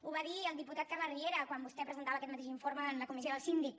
ho va dir el diputat carles riera quan vostè presentava aquest mateix informe en la comissió del síndic